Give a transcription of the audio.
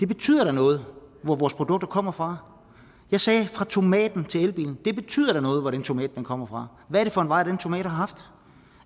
betyder noget hvor vores produkter kommer fra jeg sagde fra tomaten til elbilen det betyder da noget hvor den tomat kommer fra hvad er det for en vej den tomat har haft